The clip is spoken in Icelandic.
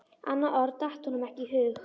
Annað orð datt honum ekki í hug.